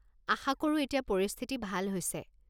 আশা কৰো এতিয়া পৰিস্থিতি ভাল হৈছে?